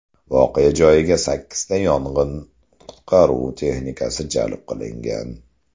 Voqea joyiga sakkizta yong‘in-qutqaruv texnikasi jalb qilingan.